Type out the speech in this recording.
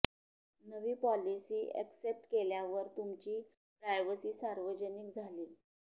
नवी policy accept केल्या वर तुमची प्रायव्हसी सार्वजनिक झाली